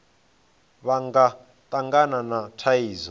vha nga tangana na thaidzo